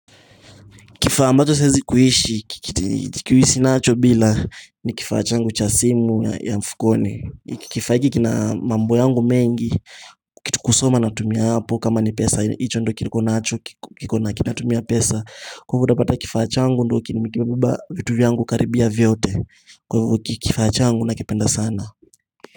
Kifaa ambacho siwezi kuishi, kuishi nacho bila ni kifaa changu cha simu ya mfukoni. Kifaa hiki kina mambo yangu mengi, kusoma natumia hapo kama ni pesa. Hicho ndo kinikonacho, kikona kinatumia pesa. Kutopata kifaa changu ndio kimebeba vitu vyangu karibia vyote. Kwa hivyo kifaa changu nakipenda sana.